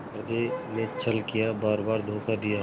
हृदय ने छल किया बारबार धोखा दिया